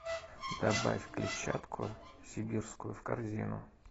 добавь клетчатку сибирскую в корзину